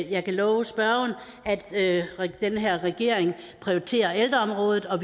jeg kan love spørgeren at den her regering prioriterer ældreområdet og